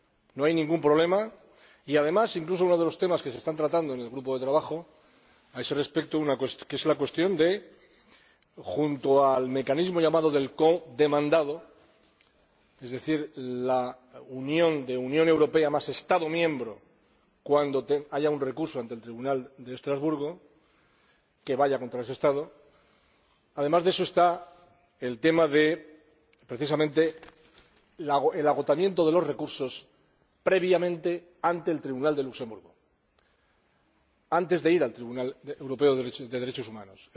No hay ningún problema. Y, además, incluso uno de los temas que se están tratando en el grupo de trabajo a ese respecto es, junto a la cuestión del mecanismo llamado del codemandado —es decir, la unión de Unión Europea más Estado miembro—, cuando haya un recurso ante el Tribunal de Estrasburgo que vaya contra ese Estado, el tema, precisamente, del agotamiento de los recursos, previamente, ante el Tribunal de Luxemburgo antes de ir al Tribunal Europeo de Derechos Humanos.